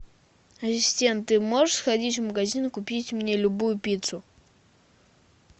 ассистент ты можешь сходить в магазин и купить мне любую пиццу